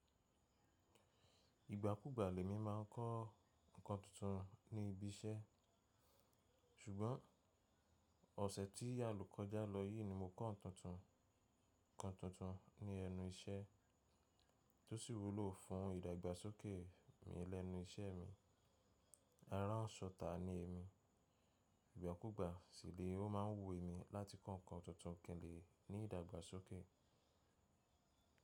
Ìgbà kúgbà lèmi má a ń kọ́ nǹkan tuntun ní ibi iṣẹ́, ṣùgbọ́n ọ̀sẹ̀ tí àlo koja lọ yìí ni mo kọ́ nǹkan tuntun kan ní ẹnu iṣẹ́ tó sì wúlò fún ìdàgbàsókè mi lẹ́nu iṣẹ́ mi. Aránṣọ ta ni èmi, ìgbà kúgbà sì ni o má a ń wo èmi láti kọ́ nǹkan tuntun kin le ní ìdàgbàsókè.